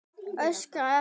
Óskari eftir.